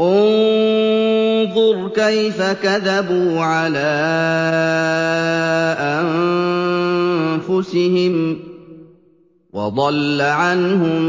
انظُرْ كَيْفَ كَذَبُوا عَلَىٰ أَنفُسِهِمْ ۚ وَضَلَّ عَنْهُم